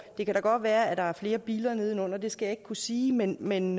det kan da godt være der er flere biller nedenunder det skal jeg ikke kunne sige men men